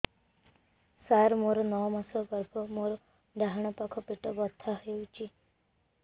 ସାର ମୋର ନଅ ମାସ ଗର୍ଭ ମୋର ଡାହାଣ ପାଖ ପେଟ ବଥା ହେଉଛି